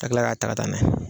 Ka kila k'a ta ka taa n'a ye.